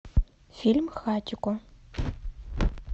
фильм хатико